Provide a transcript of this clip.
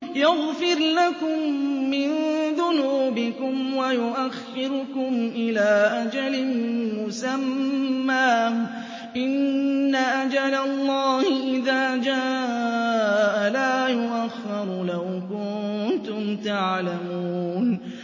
يَغْفِرْ لَكُم مِّن ذُنُوبِكُمْ وَيُؤَخِّرْكُمْ إِلَىٰ أَجَلٍ مُّسَمًّى ۚ إِنَّ أَجَلَ اللَّهِ إِذَا جَاءَ لَا يُؤَخَّرُ ۖ لَوْ كُنتُمْ تَعْلَمُونَ